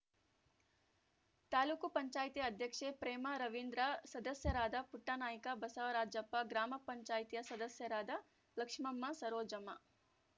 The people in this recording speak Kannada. ತಾಲೂಕ್ ಪಂಚಾಯತಿ ಅಧ್ಯಕ್ಷೆ ಪ್ರೇಮಾ ರವೀಂದ್ರ ಸದಸ್ಯರಾದ ಪುಟ್ಟನಾಯ್ಕ ಬಸವರಾಜಪ್ಪ ಗ್ರಾಮ ಪಂಚಾಯತ್ಯಾ ಸದಸ್ಯರಾದ ಲಕ್ಷ್ಮಮ್ಮ ಸರೋಜಮ್ಮ